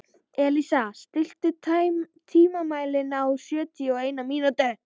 Elísa, stilltu tímamælinn á sjötíu og eina mínútur.